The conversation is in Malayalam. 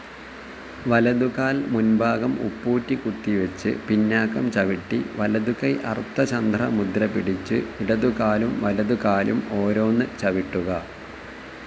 വലതുകാൽ മുൻഭാഗം ഉപ്പൂറ്റികുത്തിവെച്ച് പിന്നാക്കം ചവിട്ടി, വലതുകൈ അർത്ഥചന്ദ്ര മുദ്ര പിടിച്ചു, ഇടതുകാലും വലതുകാലും ഓരോന്ന് ചവിട്ടുക.